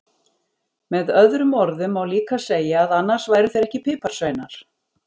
Með öðrum orðum má líka segja að annars væru þeir ekki piparsveinar!